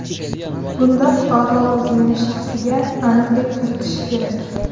Bunda fuqaro o‘zining shaxsiga aniqlik kiritishi kerak.